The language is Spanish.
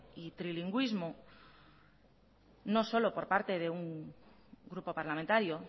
y trilingüismo no solo por parte de un grupo parlamentario